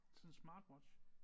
Sådan Smartwatch